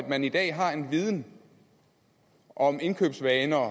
man i dag har en viden om indkøbsvaner